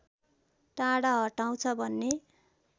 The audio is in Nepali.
टाढा हटाउँछ भन्ने